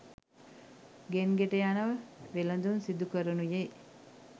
ගෙන් ගෙට යන වෙළඳුන් සිදුකරනුයේ